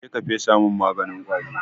Je ka fesa min maganin ƙwari!